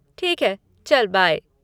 ठीक है, चल बाय।